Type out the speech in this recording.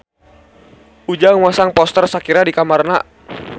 Ujang masang poster Shakira di kamarna